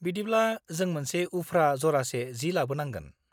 बिदिब्ला जों मोनसे उफ्रा जरासे जि लाबोनांगोन।